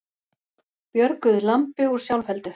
Björguðu lambi úr sjálfheldu